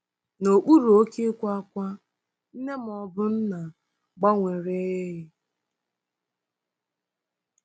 N'okpuru oke ịkwa ákwá, nne ma ọ bụ nna gbanwere ee e.